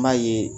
N b'a ye